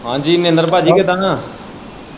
ਹਾਂਜ਼ੀ ਮਹਿੰਦਰ ਪਾਜੀ ਕਿੱਦਾਂ?